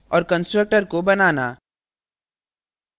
और constructor को बनाना